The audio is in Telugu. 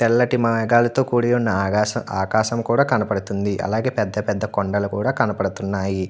తెల్లటి మేగాల్లతో కుడి వున్న ఆగాసం ఆకాశం కూడా కనిపడుతుంది అలాగే పెద్ద పెద్ద కొండలు కూడా కనబడుతున్నాయి.